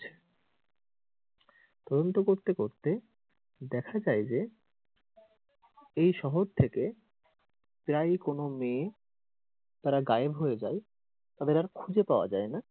তদন্ত করতে করতে দেখা যায় যে এই শহর থেকে প্রায়ই কোনো মেয়ে তারা গায়েব হয়ে যায়, তাদের আর খুঁজে পাওয়া যাই না।